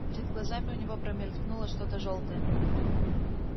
перед глазами у него промелькнуло что то жёлтое